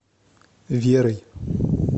верой